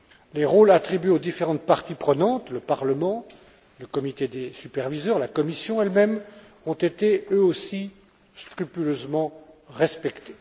Les rôles attribués aux différentes parties prenantes, au Parlement, au comité des superviseurs, à la Commission elle même, ont été eux aussi scrupuleusement respectés.